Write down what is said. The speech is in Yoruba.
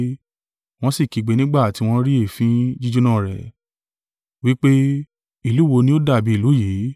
wọ́n sì kígbe nígbà tí wọ́n rí èéfín jíjóná rẹ́, wí pé, ‘Ìlú wo ni o dàbí ìlú yìí?’